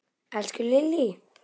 Elsku Lillý!